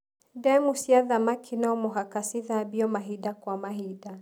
Ndemu cia thamaki nomũhaka cithambio mahinda kwa mahinda.